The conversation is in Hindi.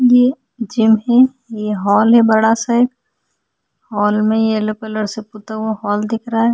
ये जिम है ये हॉल है बड़ा सा हॉल में येलो कलर से पुता हुआ हॉल दिख रहा है ।